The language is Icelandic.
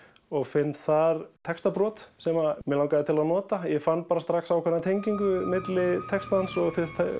og finn þar textabrot sem mig langaði til að nota ég fann strax ákveðna tengingu milli textans og